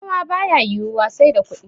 noma ba ya yiwuwa sai da kudi